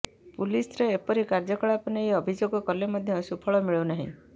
ପୁଲିସ୍ର ଏପରି କାର୍ଯ୍ୟକଳାପ ନେଇ ଅଭିଯୋଗ କଲେ ମଧ୍ୟ ସୁଫଳ ମିଳୁ ନାହିଁ